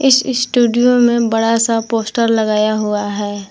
इस स्टूडियो में बड़ा सा पोस्टर लगाया हुआ है।